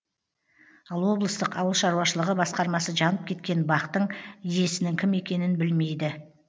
ал облыстық ауылшаруашылығы басқармасы жанып кеткен бақтың иесінің кім екенін білмейді